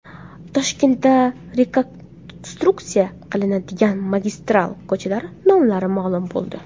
Toshkentda rekonstruksiya qilinadigan magistral ko‘chalar nomlari ma’lum bo‘ldi.